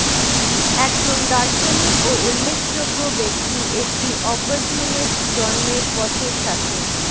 একজন দার্শনিক ও উল্লেখযোগ্য ব্যক্তি একটি অপরটিউনিস্ট জন্মের পথের সাথে